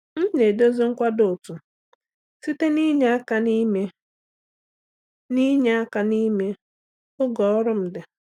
M na-edozi nkwado otu site n’inye aka n’ime n’inye aka n’ime oge ọrụ m dị.